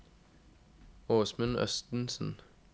Åsmund Østensen